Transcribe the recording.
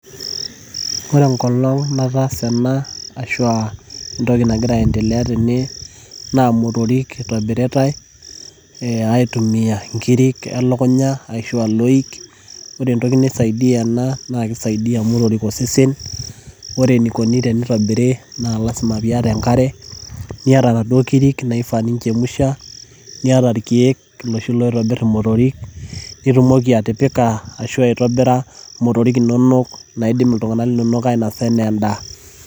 ore enkolong nataasa ena, naa motorik itumiyae ayierie nkiri elukunya, ashu aa loik, ore entoki naisaidia ena. naa kisaidia motorik osesen. ore eneikoni tenitobiri naa lasima pee iyata enkare, niata inaduoo kiri naifaa ninchemusha. nitumoki atipik nkirik imotorik inono naidim iltunganak ainosa aanaa edaa.